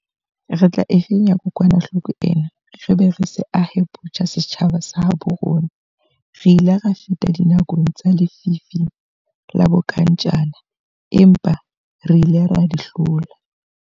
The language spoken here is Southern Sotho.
Re tla e fenya kokwanahloko ena re be re se ahe botjha setjhaba sa habo rona. Re ile ra feta dinakong tsa lefifi la bonkantjana empa re ile ra di hlola.